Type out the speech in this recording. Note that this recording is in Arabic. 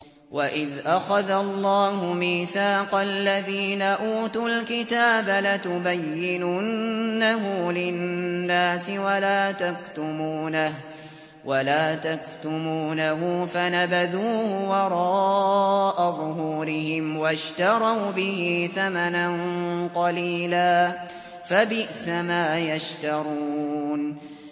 وَإِذْ أَخَذَ اللَّهُ مِيثَاقَ الَّذِينَ أُوتُوا الْكِتَابَ لَتُبَيِّنُنَّهُ لِلنَّاسِ وَلَا تَكْتُمُونَهُ فَنَبَذُوهُ وَرَاءَ ظُهُورِهِمْ وَاشْتَرَوْا بِهِ ثَمَنًا قَلِيلًا ۖ فَبِئْسَ مَا يَشْتَرُونَ